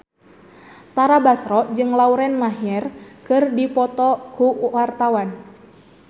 Tara Basro jeung Lauren Maher keur dipoto ku wartawan